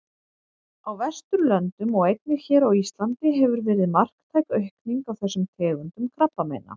Á Vesturlöndum og einnig hér á Íslandi hefur verið marktæk aukning á þessum tegundum krabbameina.